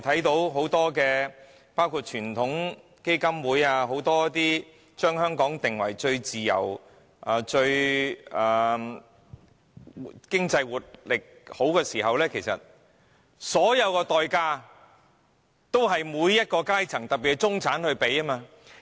雖然美國傳統基金會將香港評為最自由及有良好經濟活力的經濟體，但其實所有代價均由各階層付出。